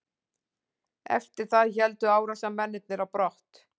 Eftir það héldu árásarmennirnir á brott